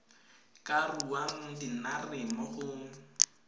ka ruang dinare mo go